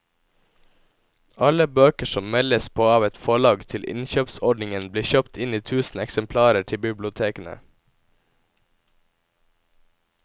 Alle bøker som meldes på av et forlag til innkjøpsordningen blir kjøpt inn i tusen eksemplarer til bibliotekene.